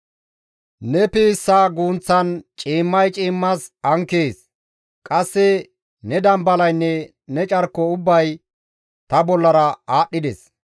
Ne piissa guunththan ciimmay ciimmas ankees; qasse ne dambalaynne ne carko ubbay ta bollara aadhdhides.